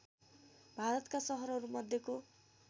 भारतका सहरहरू मध्येको